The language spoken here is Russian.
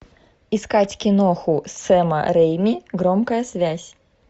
искать киноху сэма рэйми громкая связь